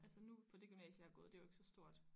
Altså nu på det gymnasie jeg har gået det er jo ikke så stort